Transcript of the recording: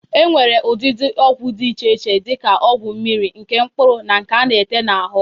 E nwere ụdịdị ọgwụ dị iche iche dị ka ọgwụ mmiri, nke mkpụrụ na nke a na-ete n'ahụ.